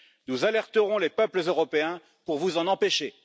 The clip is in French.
Nous alerterons les peuples européens pour vous en empêcher.